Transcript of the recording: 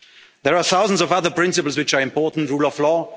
need still reforms. There are thousands of other principles which are important